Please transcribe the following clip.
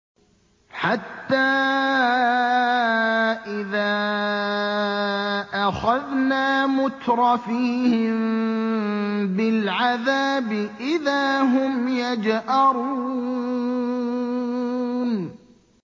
حَتَّىٰ إِذَا أَخَذْنَا مُتْرَفِيهِم بِالْعَذَابِ إِذَا هُمْ يَجْأَرُونَ